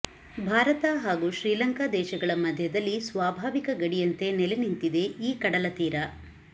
ಭಾರತ ಹಾಗು ಶ್ರೀಲಂಕಾ ದೇಶಗಳ ಮಧ್ಯದಲ್ಲಿ ಸ್ವಾಭಾವಿಕ ಗಡಿಯಂತೆ ನೆಲೆ ನಿಂತಿದೆ ಈ ಕಡಲ ತೀರ